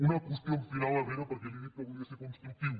una qüestió final herrera perquè li he dit que volia ser constructiu